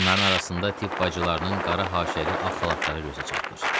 Onların arasında tibb bacılarının qara haşiyəli ağ xalatları gözə çarpır.